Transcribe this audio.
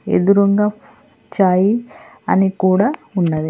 ఎదురుంగ చాయి అని కూడ ఉన్నది.